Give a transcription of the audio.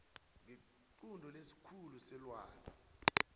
ngequnto lesikhulu selwazi